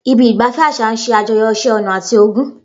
Ibi ìgbafẹ́ àṣà ń ṣe àjọyọ̀ iṣẹ́ ọnà àti ogún.